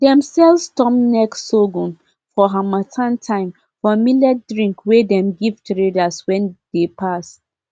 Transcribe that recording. dem sell storm neck sorghum for harmattan time for millet drink wey dem give traders wey dey pass